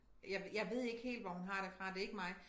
Jeg jeg ved ikke helt hvor hun har det fra det ikke mig